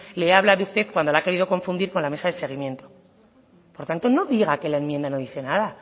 le he hablado a usted cuando la ha querido confundir con la mesa de seguimiento por tanto no diga que la enmienda no dice nada